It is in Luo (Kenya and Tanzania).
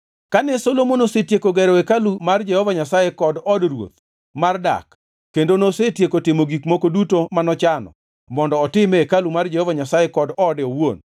Kane Solomon osetieko gero hekalu mar Jehova Nyasaye kod od ruoth mar dak kendo nosetieko timo gik moko duto manochano mondo otim e hekalu mar Jehova Nyasaye kod ode owuon;